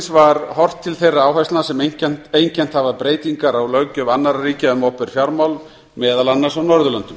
var horft til þeirra áherslna sem einkennt hafa breytingar á löggjöf annarra ríkja um opinber fjármál meðal annars á norðurlöndum